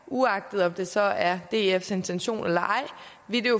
uagtet om det så er dfs intention eller ej